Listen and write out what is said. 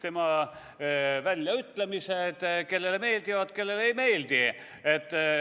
Tema väljaütlemised kellelegi meeldivad, kellelegi ei meeldi.